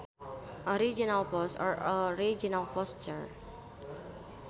Original Post or Original Poster